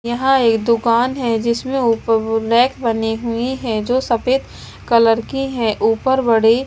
यहां एक दुकान है जिसमें ऊपर रैक बनी हुई है जो सफेद कलर की है ऊपर बड़े --